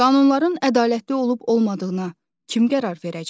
Qanunların ədalətli olub-olmadığına kim qərar verəcək?